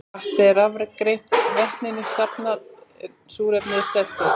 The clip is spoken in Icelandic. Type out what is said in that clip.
Vatnið er rafgreint, vetninu safnað en súrefni sleppt út.